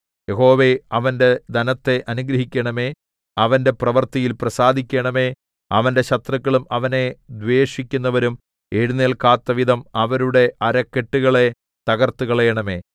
യഹോവേ അവന്റെ ധനത്തെ അനുഗ്രഹിക്കണമേ അവന്റെ പ്രവൃത്തിയിൽ പ്രസാദിക്കണമേ അവന്റെ ശത്രുക്കളും അവനെ ദ്വേഷിക്കുന്നവരും എഴുന്നേല്ക്കാത്തവിധം അവരുടെ അരക്കെട്ടുകളെ തകർത്തുകളയണമേ